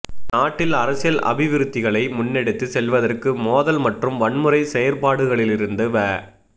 நாட்டில் அரசியல் அபிவிருத்திகளை முன்னெடுத்து செல்வதற்கு மோதல் மற்றும் வன்முறை செயற்பாடுகளிலிருந்து வ